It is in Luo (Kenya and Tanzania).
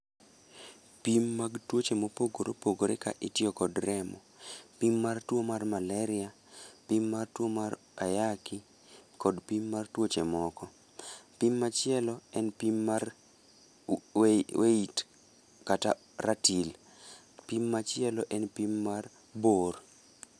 Pim mag tuoche mopogore opogore ka itiyo kod remo. Pim mar tuo mar maleria, pim mar tuo mar ayaki, kod pim mar tuoche moko. Pim machielo en pim mar weight kata ratil, pim machielo en pim mar bor.